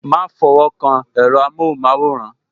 Ma fọwọ́ kan èro amohun maworan